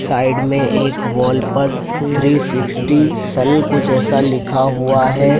Side में एक wall पर थ्री सिक्सटी सल कुछ ऐसा लिखा हुआ है।